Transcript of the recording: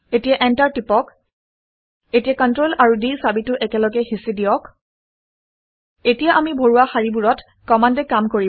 এতিয়া এন্টাৰটো হেঁচি দিয়ক। এতিয়া Ctrl আৰু d চাবিটো একেলগে হেঁচি দিয়ক এতিয়া আমি ভৰোৱা শাৰীবোৰত কমাণ্ডে কাম কৰিব